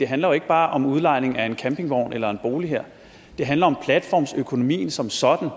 handler jo ikke bare om udlejning af en campingvogn eller en bolig det handler om platformsøkonomien som sådan